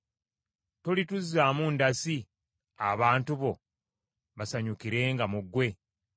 Tolituzaamu ndasi, abantu bo basanyukirenga mu ggwe?